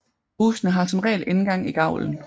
Husene har som regel indgang i gavlen